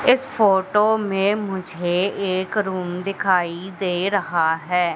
इस फोटो में मुझे एक रूम दिखाई दे रहा है।